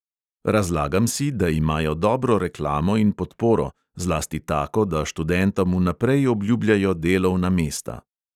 Razlagam si, da imajo dobro reklamo in podporo, zlasti tako, da študentom vnaprej obljubljajo delovna mesta.